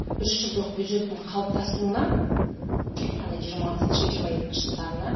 үшжылдық бюджеттің қалыптасуына яғни жиырмасыншы жиырма екінші жылдарына